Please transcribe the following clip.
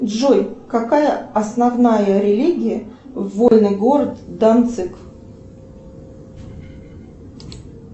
джой какая основная религия вольный город данциг